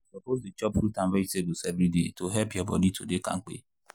you suppose dey chop fruit and vegetables every day to help your body to dey kampe.